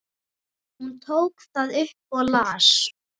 Hún tók það upp og las.